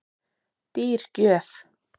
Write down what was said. Dýr gjöf